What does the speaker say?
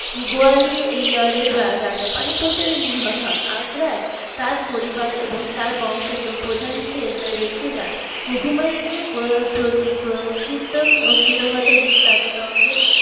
গোয়ালিয়রের রাজা পানিপথের নিহত হন আগ্রায় তার পরিবার এবং তার বংশের প্রধান যে রেখে যান হুমায়ুনের প্রতি কৃতজ্ঞতা যিনি তাদের